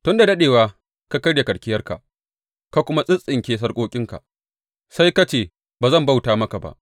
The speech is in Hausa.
Tun da daɗewa ka karya karkiyarka ka kuma tsintsinke sarƙoƙinka; sai ka ce, Ba zan bauta maka ba!’